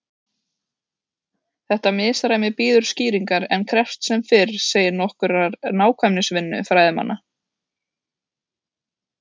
Þetta misræmi bíður skýringar en krefst sem fyrr segir nokkurrar nákvæmnisvinnu fræðimanna.